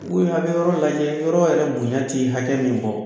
a be yɔrɔ lajɛ, yɔrɔ yɛrɛ bonɲa ti hakɛ min bɔ